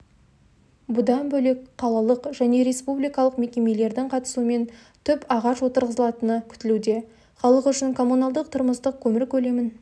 бұдан бөлек қалалық және республикалық мекемелердің қатысуымен түп ағаш отырғызылатыны күтілуде халық үшін коммуналдық-тұрмыстық көмір көлемін